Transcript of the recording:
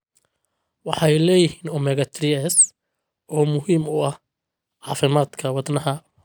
Waxay leeyihiin omega-3s oo muhiim u ah caafimaadka wadnaha.